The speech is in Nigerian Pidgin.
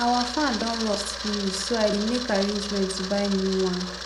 our fan don rust finish so i dey make arrangements to buy new one